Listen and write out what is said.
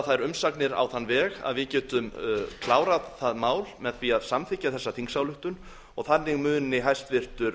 þær umsagnir á þann veg að við getum klárað það mál með því að samþykkja þessa þingsályktun og þannig muni hæstvirtur